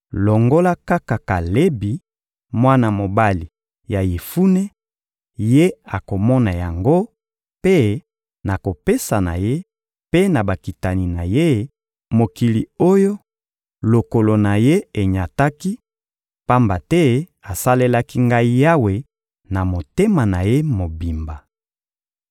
longola kaka Kalebi, mwana mobali ya Yefune; ye akomona yango, mpe nakopesa na ye mpe na bakitani na ye, mokili oyo lokolo na ye enyataki, pamba te asalelaki Ngai Yawe na motema na ye mobimba.»